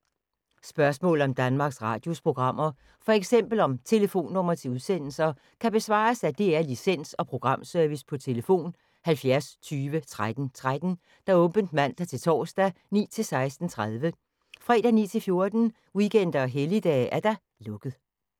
Spørgsmål om Danmarks Radios programmer, f.eks. om telefonnumre til udsendelser, kan besvares af DR Licens- og Programservice: tlf. 70 20 13 13, åbent mandag-torsdag 9.00-16.30, fredag 9.00-14.00, weekender og helligdage: lukket.